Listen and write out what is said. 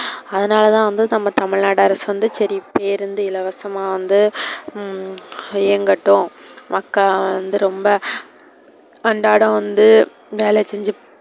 அதனால தான் வந்து நம்ம தமிழ் நாடு அரசு வந்து சரி பேருந்து இலவசமா வந்து உம் இயங்கட்டும். மக்கள் வந்து ரொம்ப அன்றாட வந்து வேல செஞ்சு,